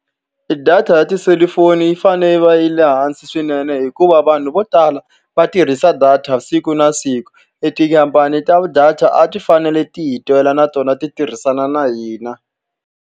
E data ya tiselifoni yi fanele yi va yi ri e hansi swinene hikuva vanhu vo tala va tirhisa data siku na siku. E tikhampani ta data a ti fanele ti hi twela na tona, ti tirhisana na hina.